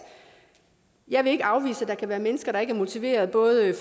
jeg vil ikke afvise at der kan være mennesker der ikke er motiverede både